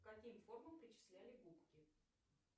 к каким формам причисляли губки